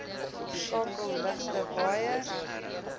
skakel ligte waaiers